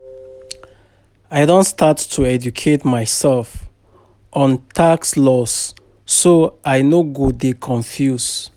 I don start to educate myself on tax laws so I no go dey confused.